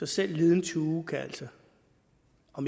så liden tue kan altså